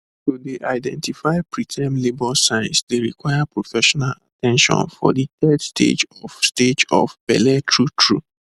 to dey identify preterm labour signs dey require professional at ten tion for de third stage of stage of belle true true